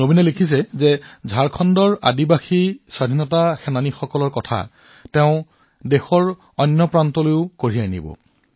নবীনে লিখিছে যে ঝাৰখণ্ডৰ জনজাতীয় স্বাধীনতা সংগ্ৰামীসকলৰ কাহিনী দেশৰ আন অংশলৈ প্ৰেৰণ কৰা হব